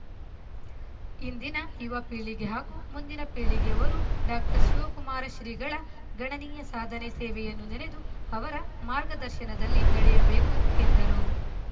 ಇಂದಿನ ಯುವ ಪೀಳಿಗೆ ಹಾಗೂ ಮುಂದಿನ ಪೀಳಿಗೆಯವರು ಡಾಕ್ಟರ್ ಶಿವಕುಮಾರ ಶ್ರೀಗಳ ಗಣನೀಯ ಸಾಧನೆ ಸೇವೆಯನ್ನು ನೆನೆದು ಅವರ ಮಾರ್ಗದರ್ಶನದಲ್ಲಿ ನಡೆಯಬೇಕು ಎಂದರು